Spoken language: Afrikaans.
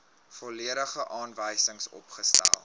volledige aanwysings opgestel